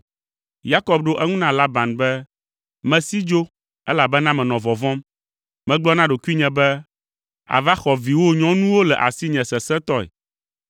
Yakob ɖo eŋu na Laban be, “Mesi dzo, elabena menɔ vɔvɔ̃m. Megblɔ na ɖokuinye be, ‘Àva xɔ viwò nyɔnuwo le asinye sesẽtɔe.’